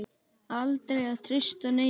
Aldrei að treysta neinum.